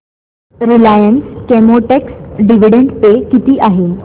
Reliance Chemotex dividend pay किती आहे